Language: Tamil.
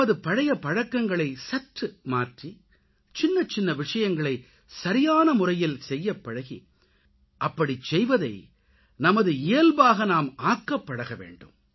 நமது பழைய பழக்கங்களை சற்று மாற்றி சின்னச்சின்ன விஷயங்களை சரியான முறையில் செய்யப்பழகி அப்படிச்செய்வதை நமது இயல்பாக நாம் ஆக்கப் பழகவேண்டும்